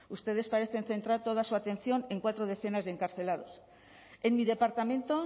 ustedes parecen centrar toda su atención en cuatro decenas de encarcelados en mi departamento